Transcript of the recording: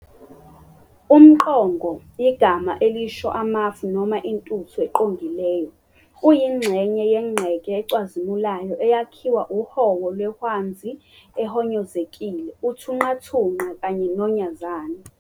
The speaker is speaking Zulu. UmQongo, igama elisho amafu noma intuthu eqongileyo, uyingxenye yenqeke ecwazimulayo eyakhiwa uhowo lwehwanzi ehonyozekile, uthunqathunqa kanye nonyazani.